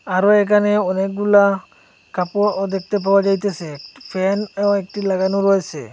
আরো এখানে অনেকগুলা কাপড়ও দেখতে পাওয়া যাইতাছে ফ্যানও একটি লাগানো রয়েছে।